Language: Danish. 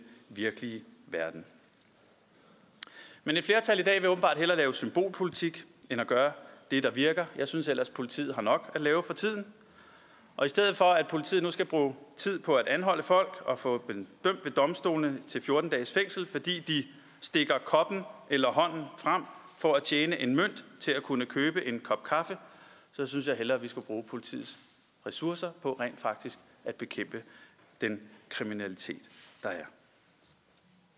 virkelige verden men et flertal i dag vil åbenbart hellere lave symbolpolitik end gøre det der virker jeg synes ellers at politiet har nok at lave for tiden og i stedet for at politiet nu skal bruge tid på at anholde folk og få dem dømt ved domstolene til fjorten dages fængsel fordi de stikker koppen eller hånden frem for at tjene en mønt til at kunne købe en kop kaffe synes jeg hellere vi skulle bruge politiets ressourcer på rent faktisk at bekæmpe den kriminalitet